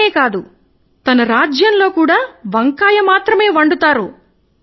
నేనే కాదు మన రాజ్యములో కూడా వంకాయ మాత్రమే వండుతారు